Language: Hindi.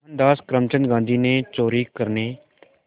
मोहनदास करमचंद गांधी ने चोरी करने